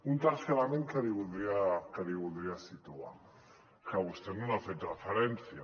un tercer element que li voldria situar que vostè no n’ha fet referència